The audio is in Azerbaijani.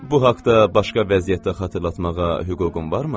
Bu haqda başqa vəziyyətdə xatırlatmağa hüququm varmı?